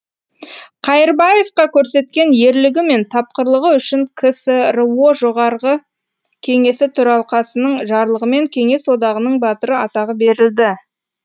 қайырбаевқа көрсеткен ерлігі мен тапқырлығы үшін ксро жоғарғы кеңесі төралқасының жарлығымен кеңес одағының батыры атағы берілді